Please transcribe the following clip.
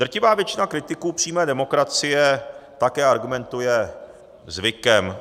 Drtivá většina kritiků přímé demokracie také argumentuje zvykem.